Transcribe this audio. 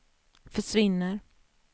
försvinner